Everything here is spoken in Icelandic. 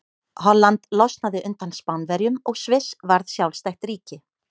Holland losnaði undan Spánverjum og Sviss varð sjálfstætt ríki.